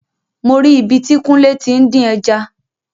Mo ri ibi tí kúnlé tí ń dín ẹja